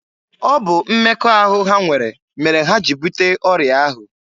Ọ bụ mmekọahụ ha nwere mere ha jiri bute ọrịa ahụ.